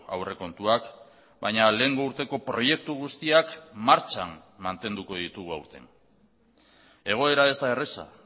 aurrekontuak baina lehengo urteko proiektu guztiak martxan mantenduko ditugu aurten egoera ez da erraza